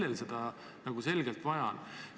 Kellel seda vaja on?